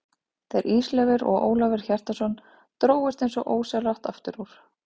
Þeir Ísleifur og Ólafur Hjaltason drógust eins og ósjálfrátt aftur úr.